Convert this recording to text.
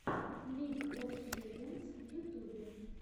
лиг оф легендс в ютубе